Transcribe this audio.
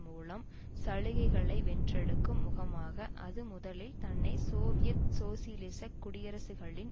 மூலம் சலுகைகளை வென்றெடுக்கும் முகமாக அது முதலில் தன்னை சோவியத் சோசியலிசக் குடியரசுகளின்